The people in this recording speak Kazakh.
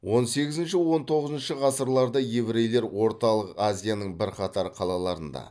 он сегізінші он тоғызыншы ғасырларда еврейлер орталық азияның бірқатар қалаларында